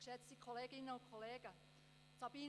Deshalb unterstützen wir die Motion.